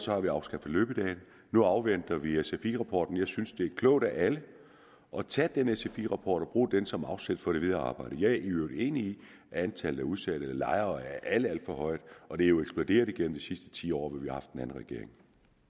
har vi afskaffet løbedage nu afventer vi vi sfi rapporten jeg synes det vil klogt af alle at tage den sfi rappport og bruge den som afsæt for det videre arbejde jeg er i øvrigt enig i at antallet af udsatte lejere er alt alt for højt og det er jo eksploderet igennem de sidste ti år hvor vi har haft en anden regering